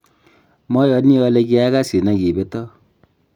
mayani ale kiakasin aki beto